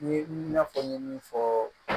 N ye n fɔ n ye min fɔ